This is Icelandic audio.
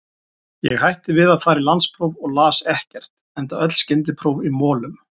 Ég hætti við að fara í landspróf og las ekkert, enda öll skyndipróf í molum.